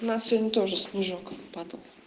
у нас сегодня тоже снежок